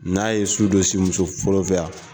N'a ye su dɔ si muso fɔlɔ fɛ yan.